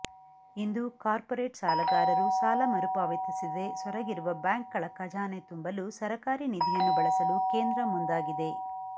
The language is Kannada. ಇಂದು ಕಾರ್ಪೊರೇಟ್ ಸಾಲಗಾರರು ಸಾಲ ಮರುಪಾವತಿಸದೆ ಸೊರಗಿರುವ ಬ್ಯಾಂಕ್ಗಳ ಖಜಾನೆ ತುಂಬಲು ಸರಕಾರಿ ನಿಧಿಯನ್ನು ಬಳಸಲು ಕೇಂದ್ರ ಮುಂದಾಗಿದೆ